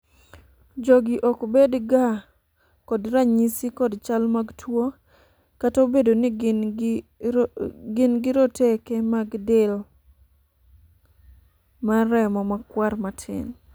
jogi ok bed ga kod ranyisi kod chal mag tuo, kata obedo ni gin gi roteke mag del mar remo makwar matin